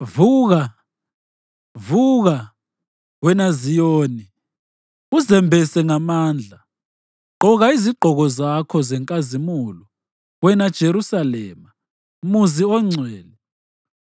Vuka, vuka, wena Ziyoni, uzembese ngamandla! Gqoka izigqoko zakho zenkazimulo, wena Jerusalema, muzi ongcwele.